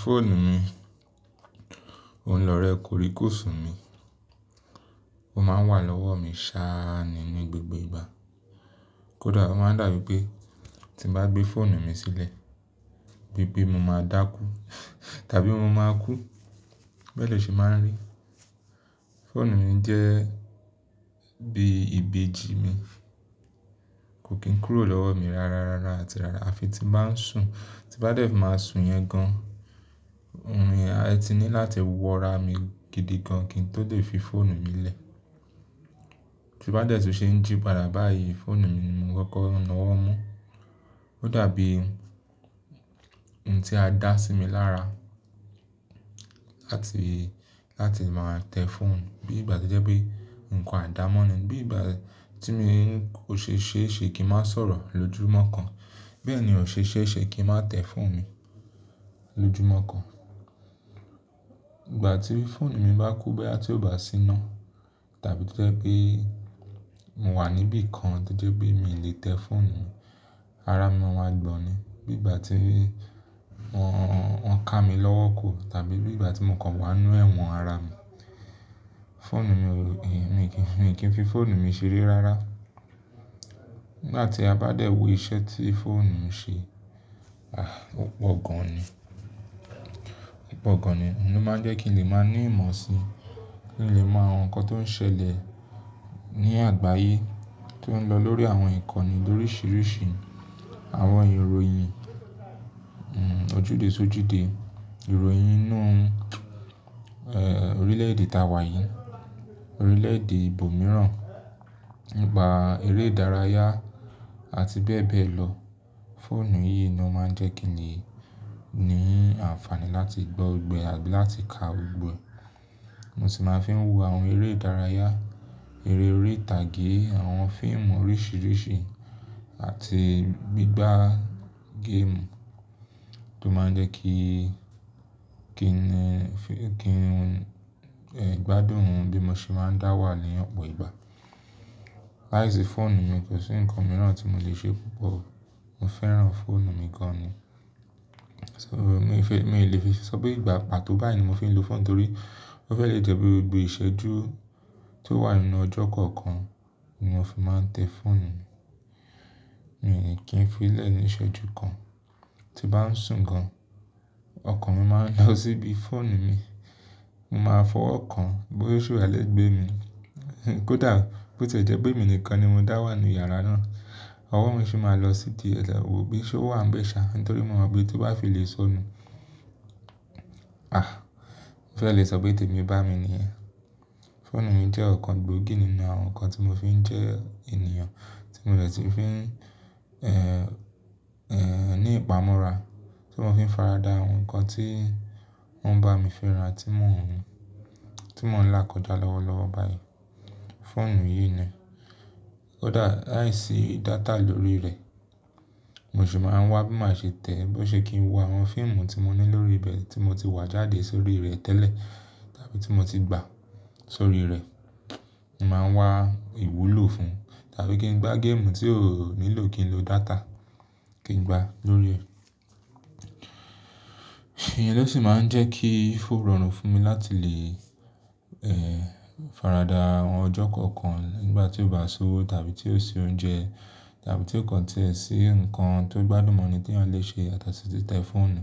Fóònù mi, òun lọ̀rẹ koríkosùn mi. Ó máa ń wà lọ́wọ́ mi sáá nínú gbogbo ìgbà. Kódà ó máa ń dàbí pé tí bá gbé fóònù mi sílẹ̀, bí bí mo máa dákú tàbí mo máa kú. Bẹ́ẹ̀ ni ọ ṣe máa ń rí. Fóònù mi jẹ́ bí ìbejì mi. Kò kí n kúrò lọ́wọ́ mi rárá rárá àti rárá. Àfi tí bá ń sùn, tí bá dẹ̀ máa sùn yẹn gan-an, orun ye ni láti wọra mi gidi gan-an kí n tó lè fi fóònù mi lẹ̀. Ti bá dẹ̀ tí ó ṣe ń jípara báyìí, fóònù mi ni mo kọ́kọ́ ń lọ́wọ́ mú. Ó dàbí ohun tí a dá sí mi lára láti, láti máa tẹ fóònù bí ìgbà tí jẹ́ pé nǹkan àdámọ́ ni. Bí ìgbà tí mo ṣe é ṣe kí ń má sọ̀rọ̀ lójoojúmọ́ kan, bẹ́ẹ̀ ni ó ṣe é ṣe kí ń má tẹ fóònù mi lójoojúmọ́ kan. Ìgbà tí fóònù mi bá kú bí àti ò bá sí iná tàbí tí ó jẹ́ pé mo wà níbí kan to jẹ́ pé mi ò lè tẹ fóònù mi, ara mi máa ń wa gbọ̀n ni. Bí ìgbà tí wọ́n, wọ́n ká mi lọ́wọ́ kù tàbí bí ìgbà tí mo kàn wà nínú ẹ̀wọ̀n ara mi, fóònù mi ò, èmi kì í fi fóònù mi ṣeré rárá. Nígbà tí a bá dẹ̀ wo iṣẹ́ tí fóònù ń ṣe, ọ̀pọ̀ gan-an ni, ọ̀pọ̀ gan-an ni. Òun ló máa ń jẹ́ kí n lè máa ní ìmọ̀ sí, kí n lè mọ àwọn nǹkan tó ń ṣẹlẹ̀ ní àgbáyé tó ń lọ lórí àwọn ìkànnì lóríṣiríṣi, àwọn ìròyìn, ojúde ṣójúde, ìròyìn inú orílẹ̀-èdè ta wà yín, orílẹ̀-èdè ibòmíràn, nipà eré ìdárayá àti bẹ́ẹ̀ bẹ́ẹ̀ lọ. Fóònù yìí ni ó máa ń jẹ́ kí i ní àǹfààní láti gbọ́ gbogbo àti láti ka gbogbo. Mo sì máa fi ń wo àwọn eré ìdárayá, eré ori' tàgé, àwọn fíìmù oríṣiríṣi àti gbígbá géèmù tó máa ń jẹ́ kí, kí kí gbádùn òun bí mo ṣe máa ń dáwà ní ọ̀pọ̀ ìgbà. Láìsí fóònù mi, kò sí nǹkan mìíràn tí mo lè ṣe púpọ̀. Mo fẹ́ràn fóònù mi gan-an ni. So mí ìfé, mi ò lè fi sọ pé ìgbà pàtó báyìí ni mo fi ń lo fóònù torí ó fẹ́ lè jẹ́ pé gbogbo ìṣẹ́jú tó wà nínú ọjọ́ kọ̀ọ̀kan ni mo fi máa ń tẹ fóònù mi. Èmi kì í fi í lẹ̀ ní ìṣẹ́jú kan. Ti bá ń sùn gan-an, ọkàn mi máa ń lọ síbi fóònù mi. Mo máa fọwọ́ kan bóyá ṣe o wa lẹ́gbẹ́ mi. Kódà bó tí jẹ́ pé èmi nìkan ni mo dáwà nínú yàrá náà, ọwọ́ mi sì máa lọ sí ti ẹlẹ́wọ̀ bí ṣúà ń bẹ̀ ṣá nítorí mo mọ bí tí wọ́n bá fi lè sọ nú. Ó fẹ́ lè sọ pé tèmi bá mi ni ẹ́. Fóònù mi jẹ́ ọ̀kan gbòógì nínú àwọn nǹkan tí mo fi ń jẹ ènìyàn tí mo lè tí ń fi ní ìpamọ́ra, tí mo fi ń faradà àwọn nǹkan tí wọ́n bá mi fẹ́ran tí mò ń tí mò ń là kọjá lọ́wọ́ lọ́wọ́ báyìí. Fóònù yìí ni. Kódà láìsí data lórí rẹ̀, mo sì máa ń wá bí màá ṣe tẹ̀ ẹ bó ṣe kí n wo àwọn fíìmù tí mo ní lórí ibẹ̀ tí mo ti wá jáde sórí rẹ̀ tẹ́lẹ̀ tàbí tí mo ti gbà sórí rẹ̀. Mo máa ń wá ìwúlò fún un tàbí kí n gbá géèmù tí ó nílò kí n lo data kí n gbá lórí rẹ̀. Ìyẹn lọ sì máa ń jẹ́ kí ó rọrùn fún mi láti lè faradà àwọn ọjọ́ kọ̀ọ̀kan nígbà tí ó bá ṣúwọ́ tàbí tí ó ṣe oúnjẹ tàbí tí kankan tẹ́ẹ́ sí nǹkan tó gbádùn mọ́ ni tí à n lè ṣe àti sí ti tẹ fóònù.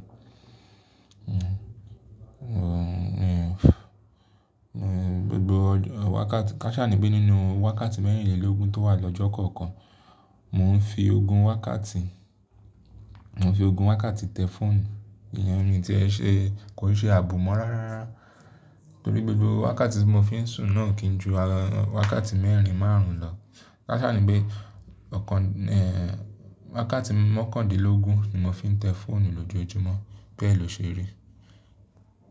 Gbogbo wákàtí-- káṣà ni pé nínú wákàtí mẹ́rìnlélógún tó wà lọ́jọ́ kọ̀ọ̀kan, mò ń fi ogún wákàtí, mò ń fi ogún wákàtí tẹ fóònù. Ìyẹn ni tí ẹ ṣe, kò ṣe àbùmọ́ rárá. Torí gbogbo wákàtí tí mo fi ń sùn náà kì í ju wákàtí mẹ́rìn márùn-ún lọ. Káṣà ni pé ọ̀kan wákàtí mọ́kàndínlógún ni mo fi ń tẹ fóònù lójoojúmọ́ bẹ́ẹ̀ ló ṣe rí.